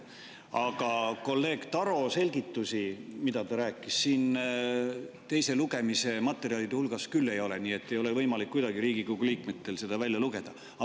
Aga kolleeg Taro selgitusi, mida ta rääkis, siin teise lugemise materjalide hulgas küll ei ole, nii et ei ole võimalik kuidagi Riigikogu liikmetel seda välja lugeda.